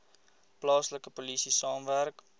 plaaslike polisie saamwerk